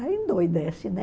Aí endoidece, né?